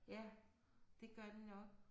Ja det gør den nok